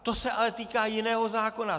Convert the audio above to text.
To se ale týká jiného zákona!